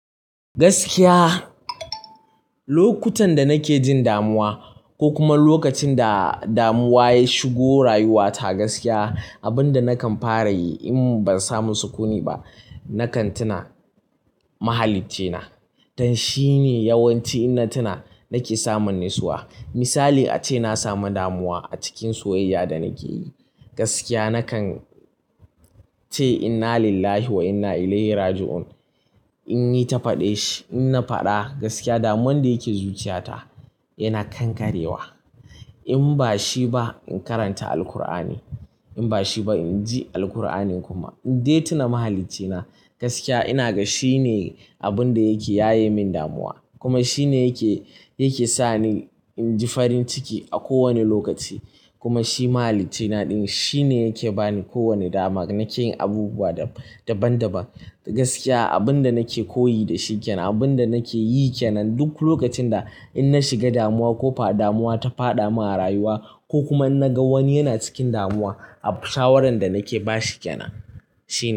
Gaskiya, lokutan da nake jin damuwa, ko kuma lokacin da damuwa ta shigo rayuwata, gaskiya abin da nakan fara yi in ban samu sukuni ba, nakan tuna mahaliccina. Don shi ne yawanci inna tuna nake samun nisuwa. Misali ace na sami damuwa a cikin soyayya da nake yi. Gaskiya nakan ce “Inna lillahi wa inna ilaihi raji'un”, in yi ta faɗe shi. In na faɗa, gaskiya damuwar da ke zuciyata yana kankarewa. In ba shi ba, in karanta Alkur'ani. In ba shi ba, in ji Alkur'anin kuma. In dai tuna mahaliccina, gaskiya ina ga shi ne abin da yake yaye min damuwa kuma shi ne yake sa ni in ji farin ciki a kowane lokaci. Kuma shi mahaliccina ɗin shi ne yake ba ni kowane dama nake yin abubuwa daban-daban. Gaskiya abin da nake koyi da shi kyanan, abin da nake yi kyanan duk lokacin da in na shiga damuwa ko fa damuwa ta faɗa min a rayuwa ko kuma in na ga wani yana cikin damuwa, saboda shawaran da nake ba shi kyanan shine.